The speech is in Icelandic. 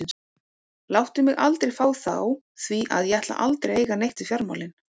Láttu mig aldrei fá þá því að ég ætla aldrei að eiga neitt við fjármálin.